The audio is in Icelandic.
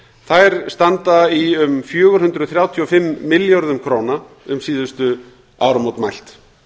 þær standa í um fjögur hundruð þrjátíu og fimm milljörðum króna um síðustu áramót mælt